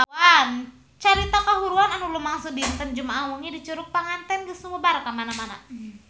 Carita kahuruan anu lumangsung dinten Jumaah wengi di Curug Panganten geus sumebar kamana-mana